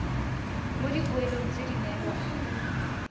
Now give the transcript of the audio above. mo dipoelong tse di neelwang